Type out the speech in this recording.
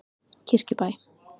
Kirkjubæ